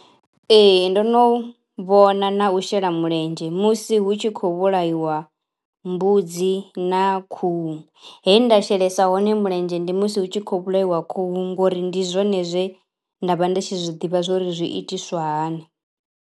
Ee ndo no vhona na u shela mulenzhe musi hu tshi khou vhulaiwa mbudzi na khuhu. He nda shelesa hone mulenzhe ndi musi hu tshi khou vhulaiwa khuhu ngori ndi zwone zwe nda vha ndi tshi zwiḓivha zwori zwi itiswa hani.